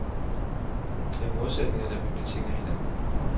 Det er modsætninger, der betinger hinanden.